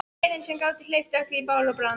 Peðin sem gátu hleypt öllu í bál og brand.